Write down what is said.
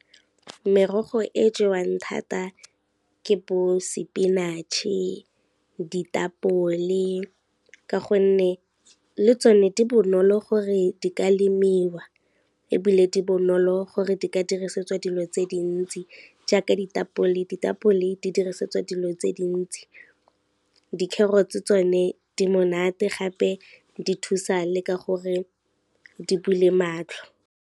Merogo e jewang thata ke bo spinach-e, ditapole ka gonne, le tsone di bonolo gore di ka lemiwa ebile di bonolo gore di ka dirisetswa dilo tse dintsi jaaka ditapole. Ditapole di dirisetswa dilo tse dintsi, di-carrots-e tsone di monate gape di thusa le ka gore di bule matlho.